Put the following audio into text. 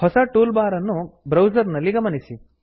ಹೊಸ toolbar ಅನ್ನು browser ನಲ್ಲಿ ಗಮನಿಸಿ